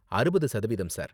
அறுபது சதவீதம் சார்.